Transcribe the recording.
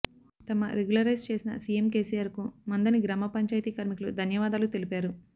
తమ రెగ్యులరైజ్ చేసిన CM KCR కు మంథని గ్రామపంచాయతీ కార్మికులు ధన్యవాదాలు తెలిపారు